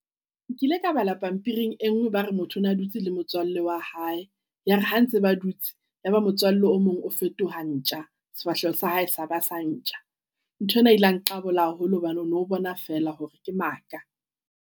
Nkile ka bala pampiring e nngwe, ba re motho o na dutse le motswalle wa hae. Ya re ha ntse ba dutse ya ba motswalle o mong o fetoha ntja, sefahleho sa hae sa ba sa ntja. Ntho ena ile ya nqabola haholo hobane o no bona feela hore ke maka.